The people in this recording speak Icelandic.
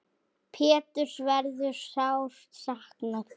Péturs verður sárt saknað.